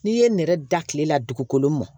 N'i ye nɛrɛ da kile la dugukolo mɔn